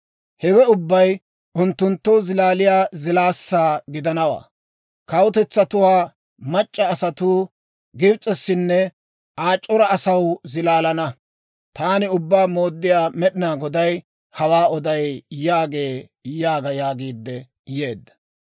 «‹ «Hewe ubbay unttunttoo zilaaliyaa zilaassaa gidanawaa. Kawutetsatuwaa mac'c'a asatuu Gibs'essinne Aa c'ora asaw zilaalana. Taani Ubbaa Mooddiyaa Med'inaa Goday hawaa oday» yaagee› yaaga» yaagiidde yeedda.